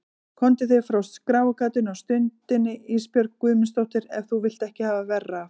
Komdu þér frá skráargatinu á stundinni Ísbjörg Guðmundsdóttir ef þú vilt ekki hafa verra af.